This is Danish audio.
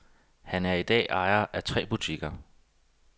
Han er i dag ejer af tre butikker.